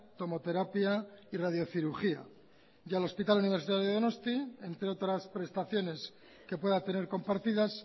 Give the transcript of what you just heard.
tomoterapia y radiocirugía y al hospital universitario de donosti entre otras prestaciones que pueda tener compartidas